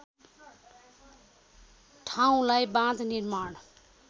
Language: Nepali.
ठाउँलाई बाँध निर्माण